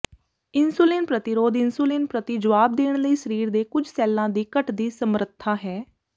insulin ਪ੍ਰਤੀਰੋਧ insulin ਪ੍ਰਤੀ ਜਵਾਬ ਦੇਣ ਲਈ ਸਰੀਰ ਦੇ ਕੁਝ ਸੈੱਲਾਂ ਦੀ ਘਟਦੀ ਸਮਰੱਥਾ ਹੈ